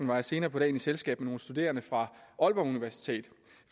var jeg senere på dagen i selskab med nogle studerende fra aalborg universitet